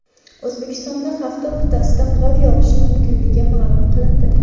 O‘zbekistonda hafta o‘rtasida qor yog‘ishi mumkinligi ma’lum qilindi.